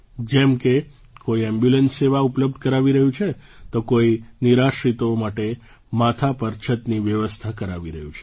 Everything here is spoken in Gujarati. જેમ કે કોઈ એમ્બ્યુલન્સ સેવા ઉપલબ્ધ કરાવી રહ્યું છે તો કોઈ નિરાશ્રિતો માટે માથા પર છતની વ્યવસ્થા કરાવી રહ્યું છે